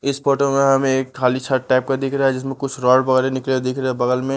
इस फोटो में हमें एक खाली छत टाइप का दिख रहा है जिसमें कुछ रोड वगैरह निकले दिख रहा है बगल में --